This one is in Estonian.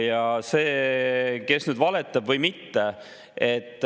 Nüüd sellest, kes valetab või mitte.